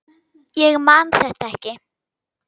Ég man þetta ekki.